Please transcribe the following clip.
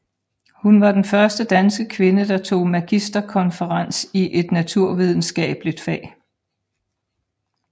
Hun var den første danske kvinde der tog magisterkonferens i et naturvidenskabeligt fag